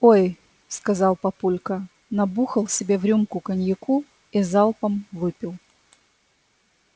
ой сказал папулька набухал себе в рюмку коньяку и залпом выпил